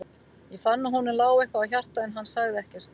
Ég fann að honum lá eitthvað á hjarta, en hann sagði ekkert.